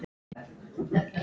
Kalli minn!